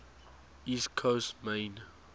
east coast maine